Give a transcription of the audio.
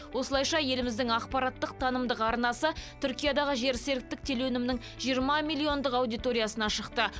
осылайша еліміздің ақпараттық танымдық арнасы түркиядағы жерсеріктік телеөнімнің жиырма миллиондық аудиториясына шықты